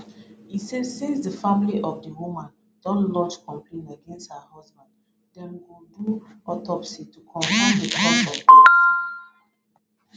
e say since di family of di woman don lodge complaint against her husband dem go do autopsy to confam di cause of death